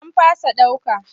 An fasa ɗauka.